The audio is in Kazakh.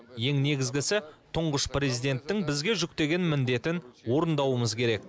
ең негізгісі тұңғыш президенттің бізге жүктеген міндетін орындауымыз керек